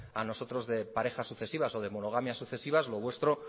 a nosotros de parejas sucesivas o de monogamias sucesivas lo vuestro